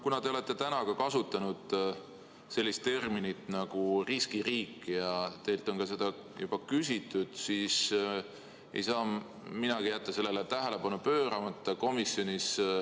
Kuna te olete täna kasutanud sellist terminit nagu "riskiriik" ja teilt on selle kohta ka juba küsitud, siis ei saa minagi jätta sellele tähelepanu pööramata.